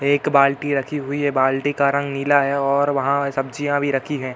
एक बाल्टी रखी हुई है। बाल्टी का रंग नीला है और वहाँ सब्जियाँ भी रखी हैं।